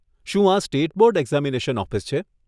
શું આ state board examination office છે?